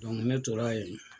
ne tor'a yen